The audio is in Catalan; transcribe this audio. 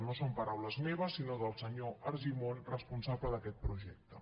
no són paraules meves sinó del senyor argimon responsable d’aquest projecte